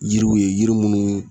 Yiriw ye yiri munnu